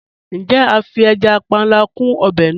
Njẹ̀, a fí ẹja pánlà kún obè náà?